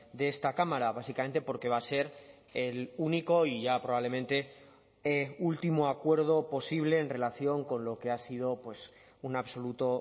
de esta cámara básicamente porque va a ser el único y ya probablemente último acuerdo posible en relación con lo que ha sido un absoluto